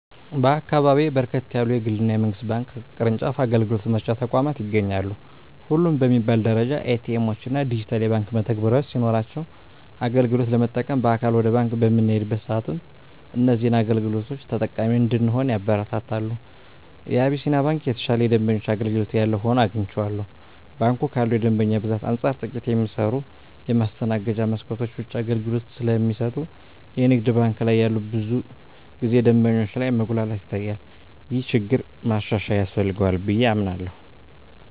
በአካባቢየ በርከት ያሉ የግል እና የመንግስት ባንክ ቅርጫፍ አገልግሎት መስጫ ተቋማት ይገኛሉ። ሁሉም በሚባል ደረጃ ኤ.ቲ. ኤምዎች እና ዲጂታል የባንክ መተግበሪያዎች ሲኖሯቸው አገልግሎት ለመጠቀም በአካል ወደ ባንክ በምንሄድበት ሰአትም እዚህን አገልግሎቶች ተጠቃሚ እንድንሆን ያበረታታሉ። የአቢስንያ ባንክ የተሻለ የደንበኛ አገልግሎት ያለው ሆኖ አግኝቸዋለሁ። ባንኩ ካለው የደንበኛ ብዛት አንፃር ጥቂት የሚሰሩ የማስተናገጃ መስኮቶች ብቻ አገልግሎት ስለሚሰጡ የንግድ ባንክ ላይ ብዙ ጊዜ ደንበኞች ላይ መጉላላት ይታያል። ይህ ችግር ማሻሻያ ያስፈልገዋል ብየ አምናለሁ።